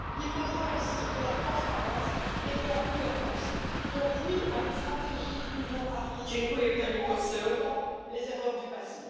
Il faudra aussi de la transparence et de la gouvernance, donc oui à une stratégie Union Afrique, mais en évitant les erreurs du passé.